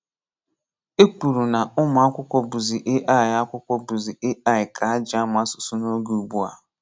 E kwùrù na ụmụ akwụkwọ bụzị AI akwụkwọ bụzị AI ka ha ji amụ asụsụ n’oge ugbua.